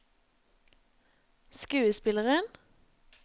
skuespilleren